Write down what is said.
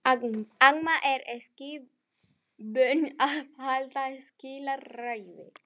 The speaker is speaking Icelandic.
Amma er ekki vön að halda slíka ræðu.